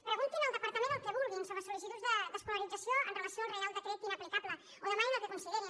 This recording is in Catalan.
preguntin al departament el que vulguin sobre sollicituds d’escolarització en relació amb el reial decret inaplicable o demanin el que considerin